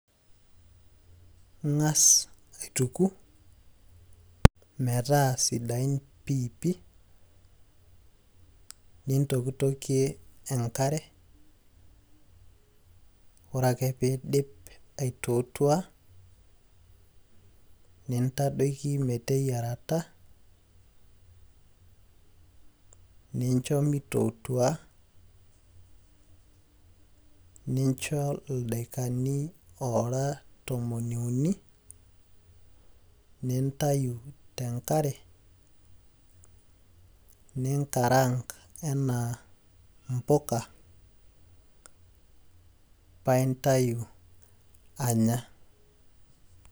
Ing'as aituku metaa sidain piipi, nintokitokie enkare. Ore ake piidip aitootua, nintadoki meteyierata, nincho mitootua, nincho ildaikani ora tomon iuni, nintayu tenkare, ninkaraank enaa impuka, pa intayu anya.